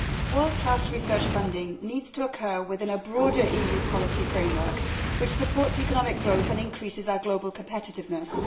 World class research funding needs to occur within a broader EU policy framework that supports economic growth and increases our global competitiveness.